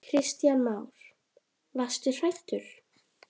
Kristján Már: Varstu hrædd?